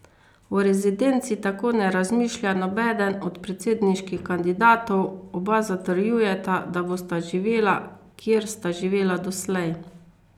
O rezidenci tako ne razmišlja nobeden od predsedniških kandidatov, oba zatrjujeta, da bosta živela, kjer sta živela doslej.